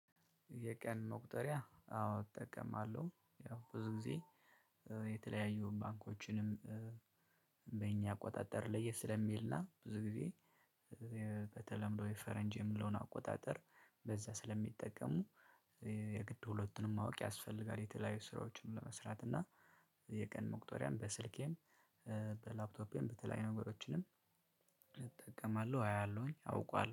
የቀን መቁጠሪያ አዎ እጠቀማለሁ ያው ብዙ ጊዜ የተለያዩ ባንኮችንም በእኛ አቆጣጠር ለየት ስለሚል ነው። ብዙ ጊዜ። በተለምዶ የፈረንጅ የምለውን አቆጣጠር በዛ ስለሚጠቀሙ የግድ ሁለቱንም ማወቅ ያስፈልጋል። የተለያዩ ስራዎችን ለመስራት እና የቀን መቁጠሪያም በስልኬም በላፕቶፔም በተለያዩ ነገሮችንም እጠቀማለሁ። አያለሁኝ አውቃለሁ